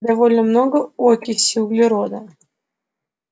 довольно много окиси углерода